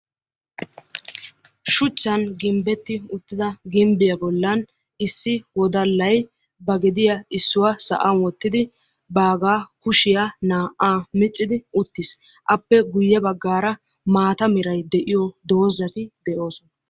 Shuchchan gimbbetti uttida gimbbiya bollan issi wodallay ba gediya issuwa sa"an wottidi baaga kushiyaa naa"aa miccidi uttis. Appe guyye baggaara maata meray de"iyo dozzati de'oosona.